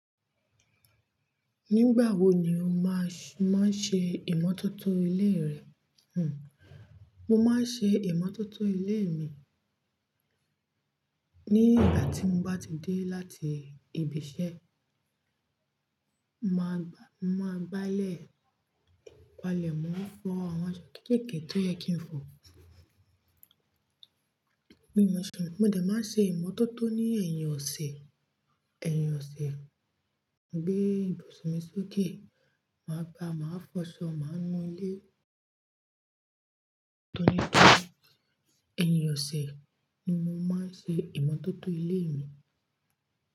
Nígbà wo ni o máà, máà ń ṣe ìmọ́tótó ilé rẹ? Mo máa ń ṣe ìmọ́tótó ilé mi ní ìgbà tí mo bá ti dé láti ibi iṣẹ́. Máa gbà, máa gbálẹ̀, palẹ̀ mọ, fọ àwọn aṣọ kéékèèké tó yẹ kí n fọ. Bí mo ṣe ń mo dẹ máa ṣe ìmọ́tótó ní ẹ̀yìn ọ̀sẹ̀, ẹ̀yìn ọ̀sẹ̀. Bí ibùsùn mi sókè, màá gbáa, màá fọ aṣọ, màá mú ilé tán nípa ẹ̀yìn ọ̀sẹ̀ ni mo máa ń ṣe ìmọ́tótó ilé mi.